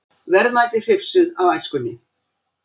Verðmæti hrifsuð af æskunni